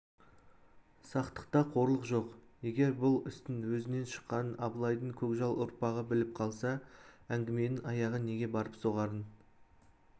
сақтықта қорлық жоқ егер бұл істің өзінен шыққанын абылайдың көкжал ұрпағы біліп қалса әңгіменің аяғы неге барып соғарын